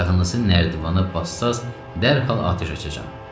Ayağınızı nərdivana bassanız, dərhal atəş açacağam.